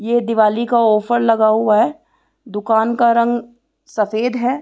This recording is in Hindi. ये दीवाली का ऑफर लगा हुआ है दूकान का रंग सफ़ेद है।